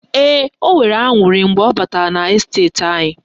Ee, o nwere aṅurị mgbe ọ batara n' esteti anyị